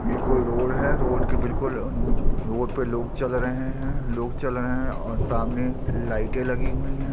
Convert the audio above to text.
ये कोई रोड है रोड के बिलकुल अनु- रोड पे लोग चल रहे है लोग चल रहे है और सामने लाइटे लगी हुई है।